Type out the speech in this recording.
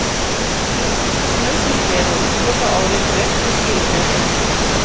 Þetta er vissulega nokkuð sem nauðsynlegt er að útiloka áður en frekari skýringa er leitað.